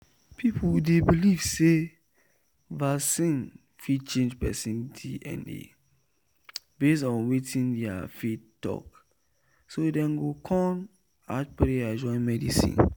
people dey believe say vaccine fit change person dna based on wetin their faith talk so dem go kon add prayer join medicine.